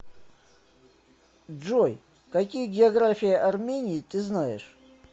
джой какие география армении ты знаешь